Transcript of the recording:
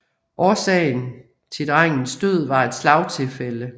Årsagen til drengens død var et slagtilfælde